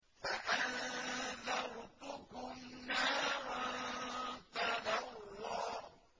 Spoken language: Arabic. فَأَنذَرْتُكُمْ نَارًا تَلَظَّىٰ